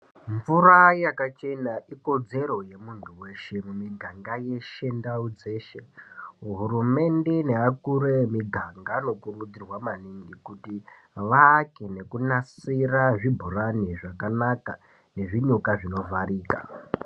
Mvura yakachena ikodzero yemunhu weshe munyika yeshe ndau dzeshe muhurumende ndaakuru ega anokurudzirwa maningi kuti vavake ngekunasira zvinhu zvakanaka nezvinuka zvinovharika